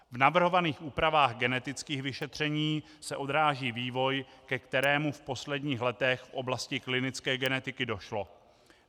V navrhovaných úpravách genetických vyšetření se odráží vývoj, ke kterému v posledních letech v oblasti klinické genetiky došlo.